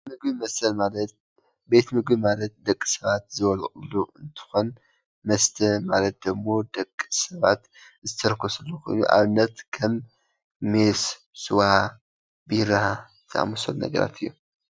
ምግብን መስተን ማለት ቤት ምግቢ ማለት ደቂ ሰባት ዝበልዕሉ እንትኾን መስተ ማለት ደሞ ደቂ ሰባት ዝትርክስሉ ኮይኑ ንኣብነት ከም ሜስ፣ ስዋ፣ ቢራ ዝኣመሰሉ ነገራት እዮም፡፡